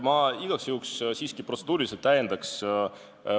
Ma igaks juhuks protseduuriliselt siiski täiendaks.